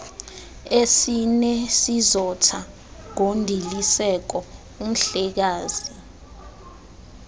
esinesizotha ngondiliseko umhlekazi